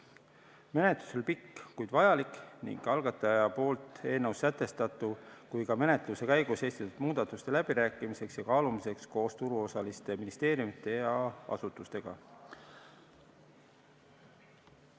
Menetlus oli pikk, kuid vajalik nii eelnõus sätestatu kui ka menetluse käigus esitatud muudatuste läbirääkimiseks ja kaalumiseks koos turuosaliste, ministeeriumide ja asutustega.